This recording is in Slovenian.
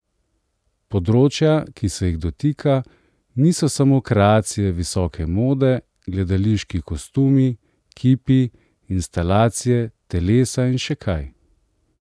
Področja, ki se jih dotika, niso samo kreacije visoke mode, gledališki kostumi, kipi, instalacije, telesa in še kaj.